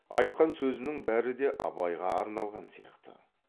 айтқан сөзінің бәрі де абайға арналған сияқты